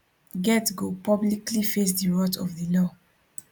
get go publicly face di wrath of di law